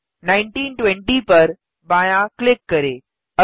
1920 पर बायाँ क्लिक करें